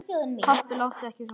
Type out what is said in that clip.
Pabbi láttu ekki svona.